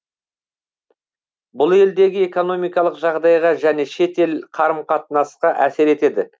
бұл елдегі экономикалық жағдайға және шет ел қарым қатынасқа әсер етеді